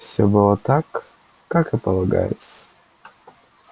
всё было так как и полагается